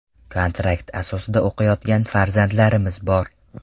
Kontrakt asosida o‘qiyotgan farzandlarimiz bor.